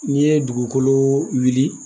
N'i ye dugukolo wuli